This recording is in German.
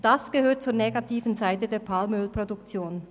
Dies gehört zur negativen Seite der Palmölproduktion.